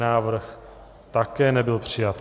Návrh také nebyl přijat.